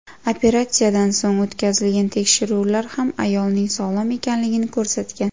Operatsiyadan so‘ng o‘tkazilgan tekshiruvlar ham ayolning sog‘lom ekanligini ko‘rsatgan.